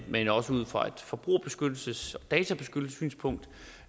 men også ud fra et forbrugerbeskyttelses og databeskyttelsessynspunkt